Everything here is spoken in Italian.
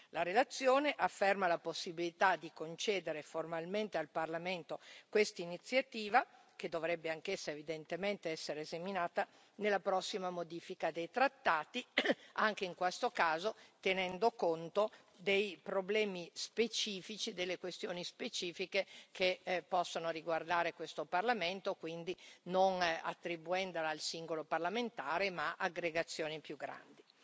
La relazione afferma la possibilità di concedere formalmente al Parlamento questa iniziativa, che dovrebbe anch'essa evidentemente essere seminata nella prossima modifica dei trattati, anche in questo caso tenendo conto dei problemi specifici, delle questioni specifiche, che possono riguardare questo Parlamento, quindi non attribuendola al singolo parlamentare ma ad aggregazioni più grandi.